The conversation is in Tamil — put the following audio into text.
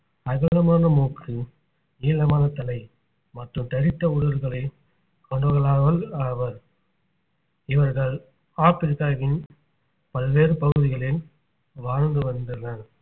அகலமான மூக்கு நீளமான தலை மற்றும் தடித்த உதடுகளை கொண்டவர்களாவர் ஆவார் இவர்கள் ஆப்பிரிக்காவின் பல்வேறு பகுதிகளில் வாழ்ந்து வருகின்றனர்